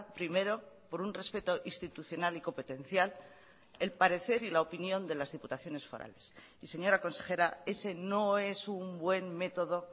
primero por un respeto institucional y competencial el parecer y la opinión de las diputaciones forales y señora consejera ese no es un buen método